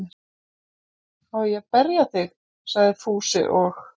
Á ég að berja þig? sagði Fúsi og